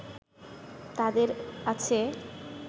তাদের আছে